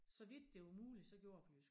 Så vidt det var muligt gjorde jeg det på jysk